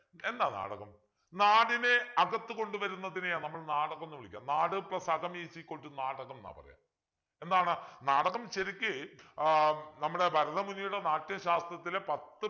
എന്താ നാടകം നാടിനെ അകത്തു കൊണ്ടുവരുന്നതിനെയാ നമ്മൾ നാടകം എന്ന് വിളിക്ക നാട് plus അകം is equal to നാടകം ന്നാ പറയാ എന്താണ് നാടകം ശരിക്ക് ആഹ് നമ്മുടെ ഭാരതമുനിയുടെ നാട്യശാസ്ത്രത്തിലെ പത്ത്